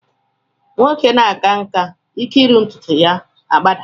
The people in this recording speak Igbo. Nwoke na-aka nkà, ike iru ntụtụ ya agbadaa